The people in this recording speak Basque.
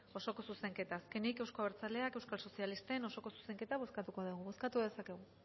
osoko zuzenketa azkenik euzko abertzaleak euskal sozialisten osoko zuzenketa bozkatuko dugu bozkatu dezakegu